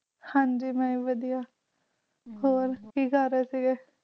ਹਨਜੀ ਮਈ ਵਾਦੀਆਂ, ਤੁਸੀ ਕਿ ਕਰ ਰਹੇ ਸੀ